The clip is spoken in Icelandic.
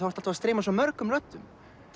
ertu að streyma svo mörgum röddum